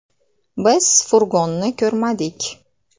“Biz furgonni ko‘rmadik.